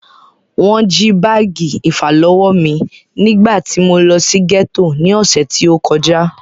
Wọ́n jí báàgì ìfàlọ́wọ́ mí nígbà tí mo lọ sí gẹ́tò ní ọ̀sẹ̀ tí o kọjá.